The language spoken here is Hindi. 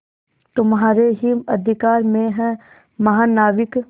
तुम्हारे ही अधिकार में है महानाविक